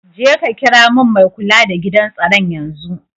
Jeka kira min mai kula da gidan tsaron yanzun.